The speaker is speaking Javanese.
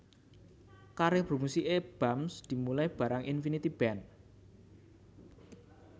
Karir bermusiké Bams dimulai bareng Infinity Band